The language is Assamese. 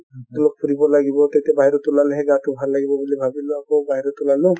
অলপ ফুৰিব লাগিব তেতিয়া বাহিৰত ওলালেহে গাটো ভাল লাগিব বুলি ভাবিলো অকৌ বাহিৰত ওলালো |